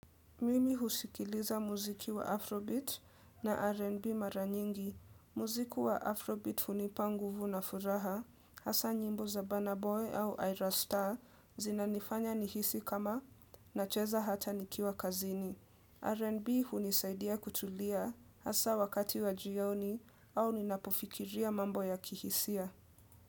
Mimi husikiliza muziki wa Afrobeat na R&B mara nyingi. Muziki wa Afrobeat hunipa nguvu na furaha hasa nyimbo za Banaboy au Ira Star zina nifanya nihisi kama na cheza hata nikiwa kazini. R&B hunisaidia kutulia hasa wakati wa jioni au ninapofikiria mambo ya kihisia.